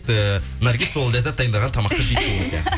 ііі наргиз сол ләззат дайындаған тамақты жейтін бізде